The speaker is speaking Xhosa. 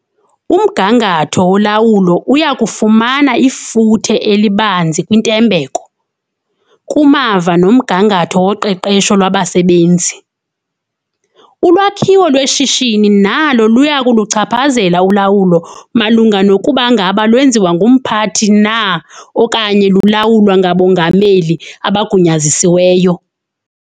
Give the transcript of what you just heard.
Umgangatho wolawulo uya kufumana ifuthe elibanzi kwintembeko, kumava nomgangatho woqeqesho lwabasebenzi. Ulwakhiwo lweshishini nalo luya kuluchaphazela ulawulo malunga nokuba ngaba lwenziwa ngumphathi na okanye lulawulwa "ngabongameli" abagunyazisiweyo.